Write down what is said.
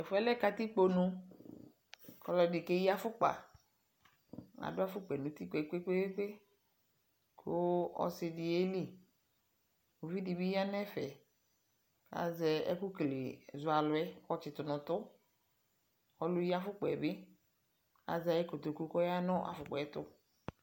Tʋ ɛfʋɛ lɛ katikpo nu kʋ ɔlɔdi keyi afʋkpa Adʋ afʋkpa yɛ nʋ ʋti kpekpekpeekpe kʋ ɔsi di yɛli Uvi di bi ya nu ɛfɛ, azɛ ɛkʋ kele, zɔ alʋ yɛ kʋ ayɔtsi tʋ nʋ ʋtʋ Ɔlʋyiafʋkpa bi azɛ ayu kotoku kʋ ɔya nʋ afʋkpa ɛtʋ